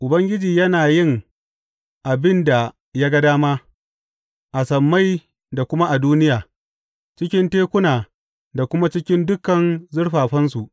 Ubangiji yana yin abin da ya ga dama, a sammai da kuma a duniya, cikin tekuna da kuma cikin dukan zurfafansu.